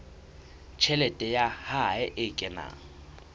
tjhelete ya hae e kenang